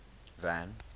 van